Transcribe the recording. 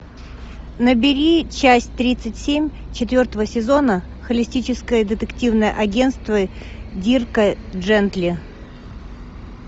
набери часть тридцать семь четвертого сезона холистическое детективное агентство дирка джентли